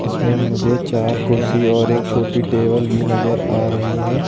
इसमें मुझे चार कुर्सी और एक छोटी टेबल भी नजर आ रही है।